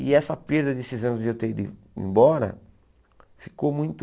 E essa perda desses anos de eu ter ido embora ficou muito...